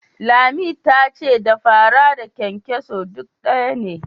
Lami ta ce da fara da kyankyaso duk ɗaya ne.